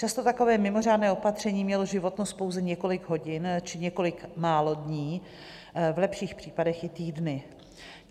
Často takové mimořádné opatření mělo životnost pouze několik hodin či několik málo dní, v lepších případech i týdny.